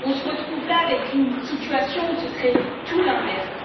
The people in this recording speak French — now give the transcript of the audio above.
On se retrouve là avec une situation où ce serait tout l'inverse.